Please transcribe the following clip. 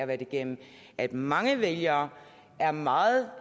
været igennem at mange vælgere er meget